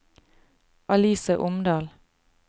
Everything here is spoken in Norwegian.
Alice Omdal